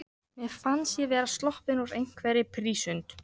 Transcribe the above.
Mér fannst ég vera sloppin úr einhverri prísund.